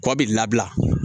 Kɔ bi labila